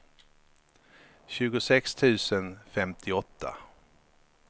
tjugosex tusen femtioåtta